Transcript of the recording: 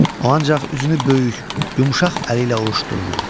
O ancaq üzünü böyük, yumşaq əli ilə ovuşdururdu.